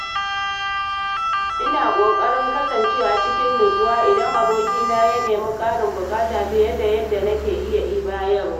Ina ƙoƙarin kasancewa cikin natsuwa idan abokina ya nemi ƙarin buƙata fiye da yadda nake iya bayarwa.